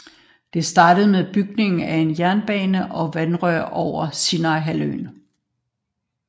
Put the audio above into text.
Det startede med bygning af en jernbane og vandrør over Sinaihalvøen